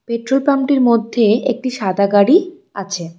Petrol পাম্পটির মধ্যে একটি সাদা গাড়ি আছে।